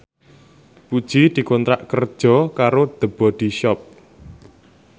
Puji dikontrak kerja karo The Body Shop